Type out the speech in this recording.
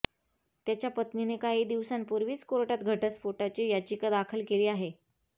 त्याच्या पत्नीने काही दिवसांपूर्वी कोर्टात घटस्फोटाची याचिका दाखल केली आहे